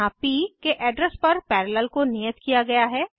यहाँ प के एड्रेस पर पैरेलल को नियत किया गया है